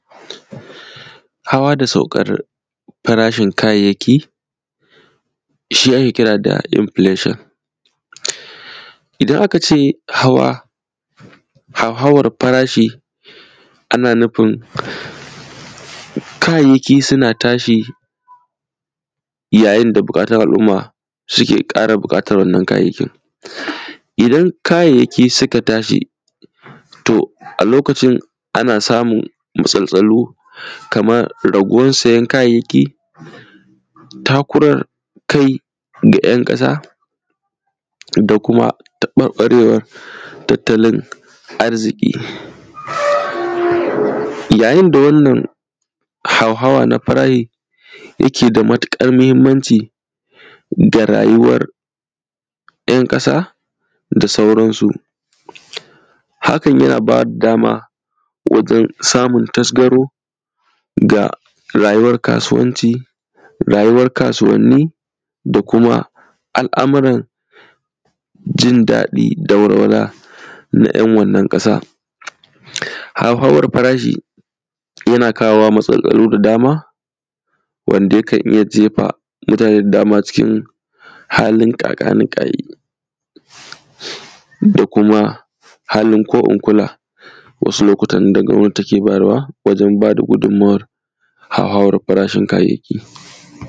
Hawa da saukar farashin kayayyaki, shi ake kira da “inflation”. Idan aka ce hawa, hauhawar farashi, ana nufin, kayayyaki suna tashi, yayin da buƙatun al’umma suke ƙara buƙatar wannan kayayyakin. Idan kayayyaki suka tashi, to, a lokacin ana samun matsaltsalu, kamar raguwan sayan kayayyaki, takurar kai da ‘yan ƙasa, da kuma taƃarƃarewar tattalin arziƙi. Yayin da wannan hauhawa na farahi, yake da matuƙar mahimmanci ga rayuwar ‘yan ƙasa da sauran su, hakan yana ba da dama wajen samun tasgaro ga rayuwar kasuwanci, rayuwar kasuwanni da kuma al’amuran jin daɗi da walwala na ‘yan wannan ƙasa. Hauhawar farashi, yana kawowa matsaloli da dama wanda yakan iya jefa mutane da dama cikin halin ƙaƙa-ni-ƙa-yi da kuma halin ko-in-kula. Wasu lokutan da gwabnati take bayarwa wajen ba da gudummawar hauhawar farashin kayayyaki.